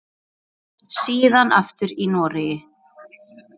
Síðan aftur í Noregi.